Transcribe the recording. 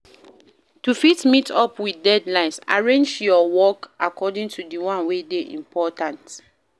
To fit meet up with deadlines arrange your work according to the one wey de important